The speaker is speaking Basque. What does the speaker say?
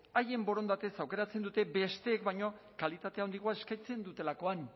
haien borondatez aukeratzen dute besteek baino kalitate handiagoa eskaintzen dutelakoan